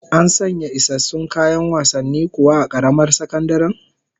An sanya isassun kayan wasanni kuwa a karamar sakandaren?